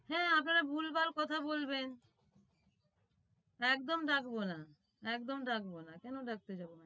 হ্যাঁ আপনারা ভুলভাল কথা বলবেন একদম ডাকবোনা একদম ডাকবোনা কেন ডাকতে যাবো